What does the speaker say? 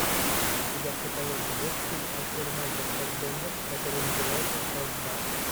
у тебя в каталоге есть фильм актер майкл фассбендер который называется штрафбат